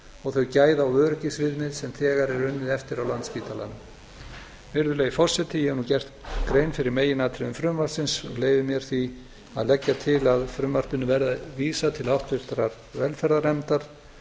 og þau gæða og öryggisviðmið sem þegar er unnið eftir á landspítalanum virðulegi forseti ég hef nú gert grein fyrir meginatriðum frumvarpsins og leyfi mér því að leggja til að frumvarpinu verði vísað til háttvirtrar velferðarnefndar